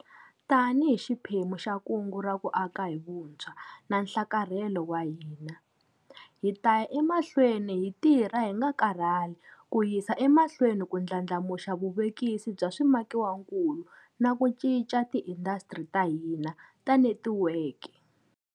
Tanihi xiphemu xa Kungu ra ku Aka hi Vuntshwa na Nhlakarhelo wa hina, hi ta ya emahlweni hi tirha hi nga karhali ku yisa emahlwe ni ku ndlandlamuxa vuvekisi bya swimakiwakulu na ku cinca tiindasitiri ta hina ta netikweke.